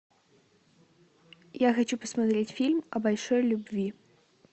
я хочу посмотреть фильм о большой любви